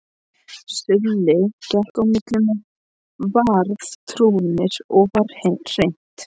Silli gekk á milli með Varðturninn og var hrint.